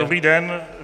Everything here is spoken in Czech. Dobrý den.